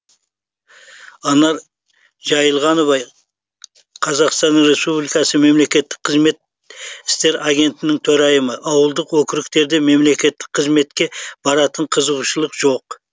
анар жайылғанова қазақтан республикасы мемлекеттік қызмет істері агенттігінің төрайымы ауылдық округтерде мемлекеттік қызметке баратын қызығушылық жоқ